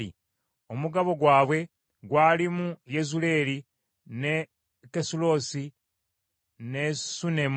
Omugabo gwabwe gwalimu Yezuleeri ne Kesulosi ne Sunemu,